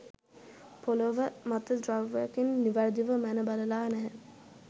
පොළව මත ද්‍රව්‍යයකින් නිවැරදිව මැන බලලා නැහැ.